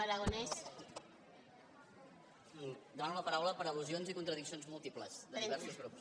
demano la paraula per al·lusions i contradiccions múltiples de diversos grups